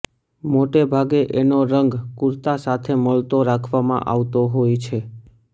મોટે ભાગે એનો રંગ કુર્તા સાથે મળતો રાખવામાં આવતો હોય છે